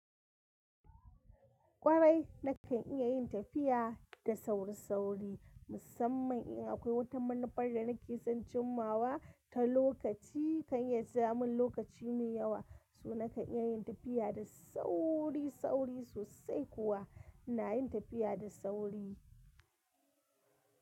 Kwarai, nakan iya yin tafiya da sauri-sauri musamman in akwai wata manufar da nake son cimawa ta lokaci. Kay ya jamin lokaci mai yawa, so nakan iya yin tafiya da sauri-sauri sosai kuwa ina yin tafiya da sauri.